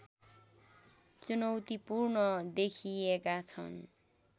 चुनौतीपूर्ण देखिएका छन्